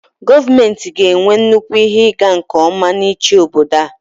gọọmenti ga-enwe nnukwu ihe ịga nke ọma n'ịchị obodo a